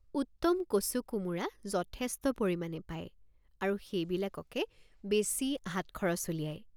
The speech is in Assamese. উত্তম কচুকোমোৰা যথেষ্ট পৰিমাণে পায় আৰু সেইবিলাককে বেচি হাত খৰচ উলিয়ায়।